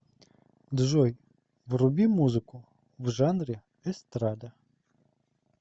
джой вруби музыку в жанре эстрада